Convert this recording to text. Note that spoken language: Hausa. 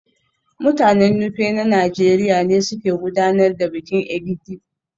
Mutanen Nupe na Najeriya ne suke gudanar da bikin Egidi